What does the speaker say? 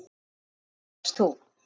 Á hvaða leið varst þú?